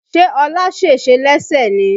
Ṣé ọlá sèse lẹ́sẹ̀ ni?